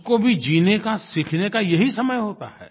उसको भी जीने का सीखने का यही समय होता है